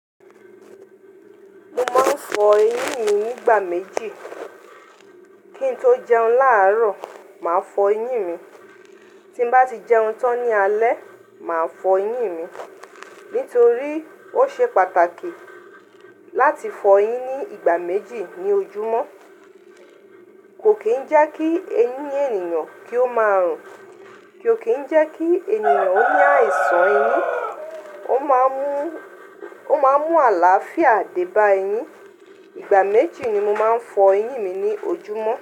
Mo máa ń fọ eyín mi nígbà méjì. Kí n tó jẹun láàrọ̀, màá fọ eyín mi. Tí n bá ti jẹun tán ní alẹ́, màá fọ eyín mi. Nítorí ó ṣe pàtàkì láti fọ eyín ní ìgbà méjì ní ojúmọ́. Kò kí ń jẹ́ kí eyín ènìyàn kí ó máa rùn, kò kí ń jẹ́ kí ènìyàn ó ní àìsàn eyín. Ó máa ń mú, ó máa ń mú àlàáfíà dé bá eyín. Ìgbà méjì ni mo máa ń fọ eyín mi ní ojúmọ́.